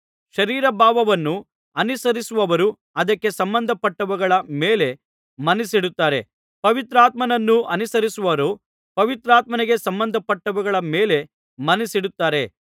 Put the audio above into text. ಶರೀರಭಾವವನ್ನು ಅನುಸರಿಸುವವರು ಅದಕ್ಕೆ ಸಂಬಂಧಪಟ್ಟವುಗಳ ಮೇಲೆ ಮನಸ್ಸಿಡುತ್ತಾರೆ ಪವಿತ್ರಾತ್ಮನನ್ನುಸರಿಸುವವರು ಪವಿತ್ರಾತ್ಮನಿಗೆ ಸಂಬಂಧಪಟ್ಟವುಗಳ ಮೇಲೆ ಮನಸ್ಸಿಡುತ್ತಾರೆ